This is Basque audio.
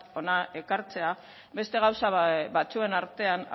hona ekartzea beste gauza batzuen artean